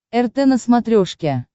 рт на смотрешке